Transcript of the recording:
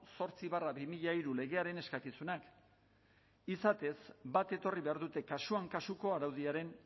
zortzi barra bi mila hiru legearen eskakizunak izatez bat etorri behar dute kasuan kasuko araudiaren